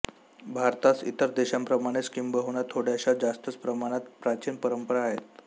भारतास इतर देशांप्रमाणेच किंबहुना थोड्याशा जास्तच प्रमाणात प्राचीन परंपरा आहेत